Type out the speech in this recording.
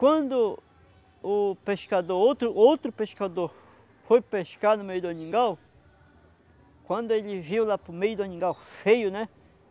Quando o pescador, outro outro pescador, foi pescar no meio do, quando ele viu lá no meio do, feio, né?